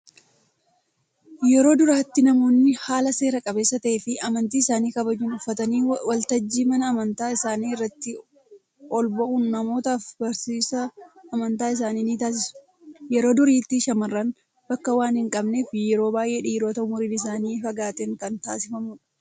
yeroo durattii namoonni haala seera qabeessa ta'eefi amantii isaanii kabajuun uffatanii waltajjii mana amantaa isaanii irratti olba'uun namootaaf barsiisa amantaa isaanii ni taasisu. yeroo duriitti shaamarran bakka waan hin qabneef yeroo baay'ee dhiirota umuriin isaanii fagaateen kan taasifamudha.